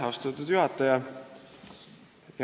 Austatud juhataja!